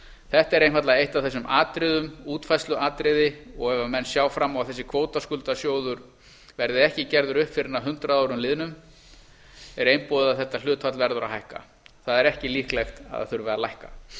þetta er einfaldlega eitt af þessum atriðum útfærsluatriði og ef menn sjá fram á að þessi kvótaskuldasjóður verði ekki gerður upp fyrr en að hundrað árum liðunum er einboðið að þetta hlutfall verður að hækka það er ekki líklegt að það þurfi að lækka